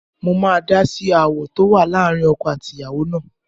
Mo máa dá sí aáwọ̀ tó wà láàrin ọkọ àti ìyàwó náà